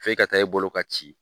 F'e ka taa e bolo ka ci.